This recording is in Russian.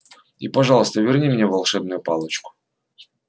и пожалуйста верни мне волшебную палочку